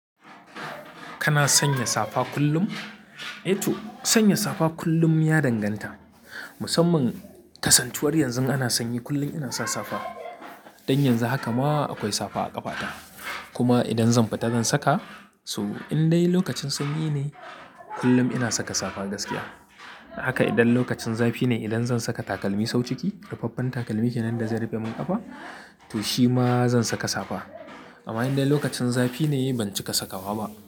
Kana sanya safa kullum? To, sanya safa kullum ya danganta. Musamman kasantuwar yanzu ana sanyi kullum ina sa safa. Dan yanzu haka ma akwai safa a ƙafata. Kuma idan zan fita zan saka so in dai lokacin sanyi ne kullum ina saka safa gaskiya. Haka idan lokacin zafi ne idan zan saka takalmi sau ciki, rufaffen takalmi kenan da zai rufe min ƙafa, to shi ma zan saka safa. Amma in dai lokacin zafi ne, ban cika sakawa ba.